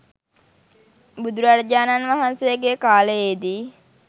බුදුරජාණන් වහන්සේගේ කාලයේ දී